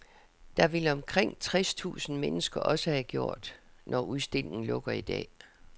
Det vil omkring tres tusind mennesker også have gjort, når udstillingen lukker i dag.